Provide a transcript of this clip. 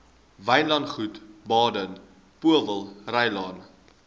wynlandgoed baden powellrylaan